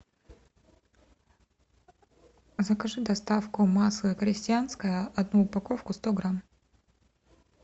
закажи доставку масло крестьянское одну упаковку сто грамм